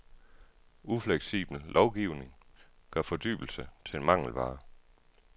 Ufleksibel lovgivning gør fordybelse til en mangelvare.